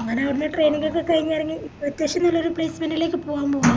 അങ്ങനെ അയിന്റെ training ഒക്കെ കയിഞ്ഞിറങ്ങി അത്യാവശ്യം നല്ലൊരു placement ലേക്ക് പോവാൻ പോവാ